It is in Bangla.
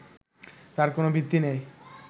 তার কোনো ভিত্তি নেই